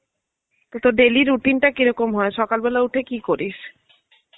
তো তর daily routine টা কিরকম হয়, সকালবেলায় উঠে কি করিস?